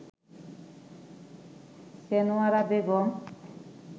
Chhenowara Begum